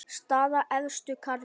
Staða efstu karla